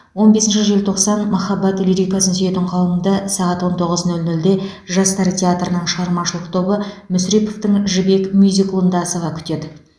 он бесінші желтоқсан махаббат лирикасын сүйетін қауымды сағат он тоғыз нөл нөлде жастар театрының шығармашылық тобы мүсіреповтің жібек мюзиклында асыға күтеді